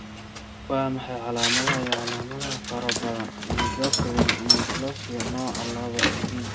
Waa maxay calaamadaha iyo calaamadaha faro badan endocrine neoplasia nooca laba B?